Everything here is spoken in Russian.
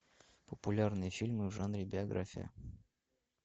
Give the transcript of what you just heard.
популярные фильмы в жанре биография